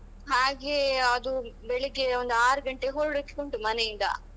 ಹಾಗೆ ಅದು ಬೆಳಿಗ್ಗೆ ಒಂದು ಆರು ಗಂಟೆಗೆ ಹೊರಡ್ಲಿಕುಂಟು ಮನೆಯಿಂದ.